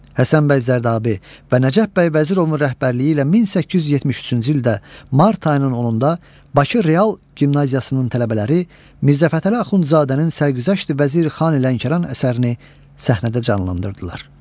Həsən bəy Zərdabi və Nəcəf bəy Vəzirovun rəhbərliyi ilə 1873-cü ildə mart ayının 10-da Bakı Real Gimnaziyasının tələbələri Mirzə Fətəli Axundzadənin Sərgüzəşti Vəziri Xan Lənkəran əsərini səhnədə canlandırdılar.